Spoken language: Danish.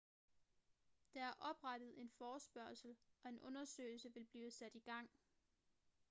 der er oprettet en forespørgsel og en undersøgelse vil blive sat i gang